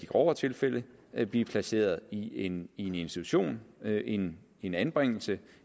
grovere tilfælde vil blive placeret i en institution en en anbringelse